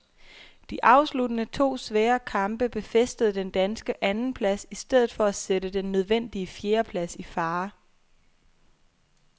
De afsluttende to svære kamp befæstede den danske andenplads i stedet for at sætte den nødvendige fjerdeplads i fare.